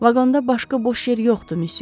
Vaqonda başqa boş yer yoxdur, missyo.